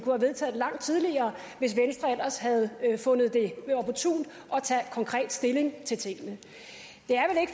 langt tidligere hvis venstre ellers havde fundet det opportunt at tage konkret stilling til tingene det